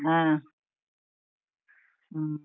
ಹಾ, ಹ್ಮ್.